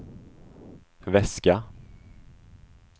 väska